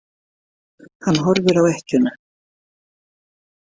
Hann horfir á ekkjuna.